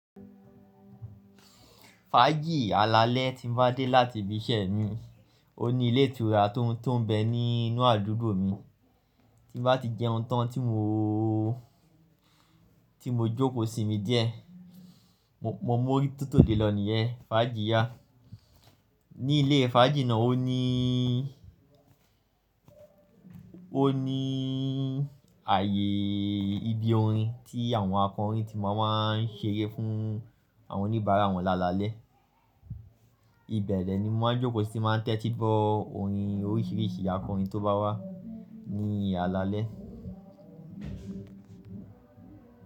Fájì alalẹ́ tí mo bá dé láti ibi iṣẹ́ mi, ó ní ilé ìtura tó ń bẹ ní inú àdúgbò mi tí bá ti jẹ́ ohun tán tí mo, tí mo jókòó sími díẹ̀. Mo mọ ó tótọ́ gẹ́lọ̀ nìyẹn, fàájì yá. Ní ilé fàájì náà ó ní, ó ní ààyè ibi orin tí àwọn akọrin tí máa máa ń ṣeré fún àwọn oníbàárà wọn lálalẹ́. Ibẹ̀ ni mo máa ń jókòó sí ti n máa tẹ́tí gbọ orin oríṣiríṣi akọrin tó bá wà ní alalẹ́.